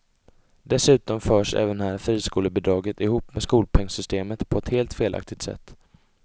Dessutom förs även här friskolebidraget ihop med skolpengsystemet på ett helt felaktigt sätt.